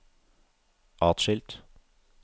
atskilt